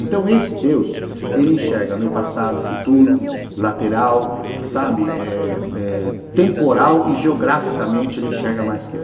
Então esse Deus, ele enxerga meu passado, futuro, lateral, sabe, eh eh temporal e geograficamente ele enxerga mais que eu.